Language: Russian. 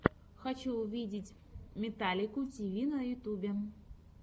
хочу увидеть металлику ти ви на ютюбе